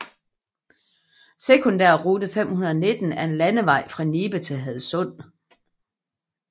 Sekundærrute 519 er en landevej fra Nibe til Hadsund